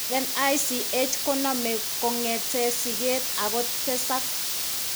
NICH ko name kongeten siget ako tesag